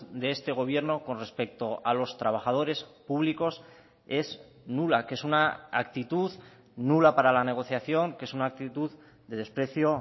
de este gobierno con respecto a los trabajadores públicos es nula que es una actitud nula para la negociación que es una actitud de desprecio